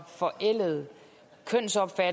for